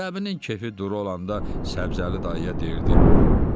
Cəbinin kefi duru olanda Səbzəli dayıya deyirdi: